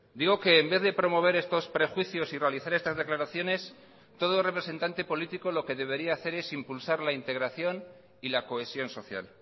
digo que en vez de promover estos prejuicios y realizar estas declaraciones todo representante político lo que debería hacer es impulsar la integración y la cohesión social